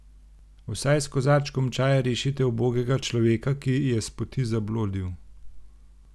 Vsaj s kozarčkom čaja rešite ubogega človeka, ki je s poti zablodil!